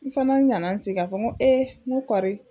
N fana ɲanna n sigi k'a fɔ ko ee ngo koɔri